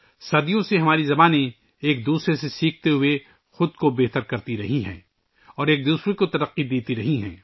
صدیوں سے ہماری زبانیں ایک دوسرے سے سیکھتے ہوئے خود کو نکھارتی رہی ہیں، ایک دوسرے کی نشوونما کرتی رہی ہیں